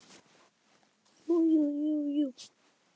Jú jú, jú jú.